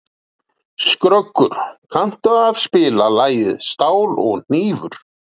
Skröggur, kanntu að spila lagið „Stál og hnífur“?